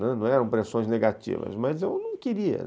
Né, não eram pressões negativas, mas eu não queria.